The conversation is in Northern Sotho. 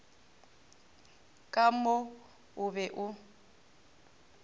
ka mo o be o